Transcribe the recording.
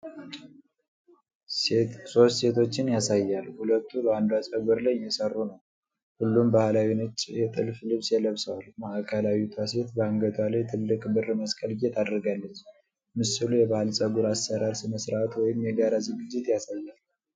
ሶስት ሴቶችን ያሳያል፤ ሁለቱ በአንዷ ፀጉር ላይ እየሰሩ ነው። ሁሉም ባህላዊ ነጭ የጥልፍ ልብስ ለብሰዋል። ማዕከላዊቷ ሴት በአንገቷ ላይ ትልቅ ብር መሰል ጌጥ አድርጋለች። ምስሉ የባህል የፀጉር አሠራር ሥነ ሥርዓት ወይም የጋራ ዝግጅት ያሳያል።